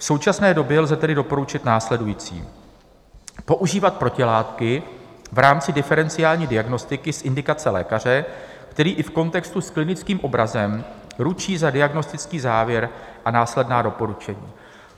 V současné době lze tedy doporučit následující: používat protilátky v rámci diferenciální diagnostiky z indikace lékaře, který i v kontextu s klinickým obrazem ručí za diagnostický závěr a následná doporučení.